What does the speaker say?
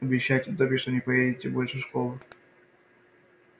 обещайте добби что не поедете больше в школу